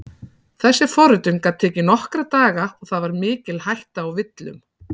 Þessi forritun gat tekið nokkra daga og það var mikil hætta á villum.